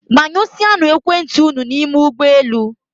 Gbanyụsịanụ ekwentị unu n'ime ụgbọelu